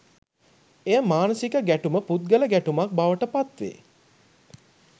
එය මානසික ගැටුම පුද්ගල ගැටුමක් බවට පත්වේ.